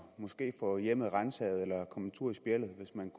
måske få hjemmet ransaget eller komme en tur i spjældet hvis man